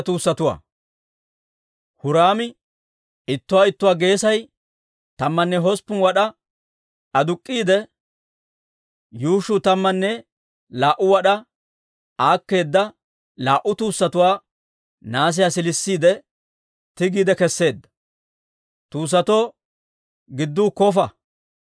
Huraami ittuwaa ittuwaa geesay tammanne hosppun wad'aa aduk'k'iide, yuushshuu tammanne laa"u wad'aa aakkeeda laa"u tuussatuwaa nahaasiyaa siilisiide tigiide keseedda. Tuussatoo gidduu kofa.